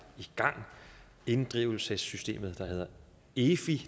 i gang inddrivelsessystemet der hedder efi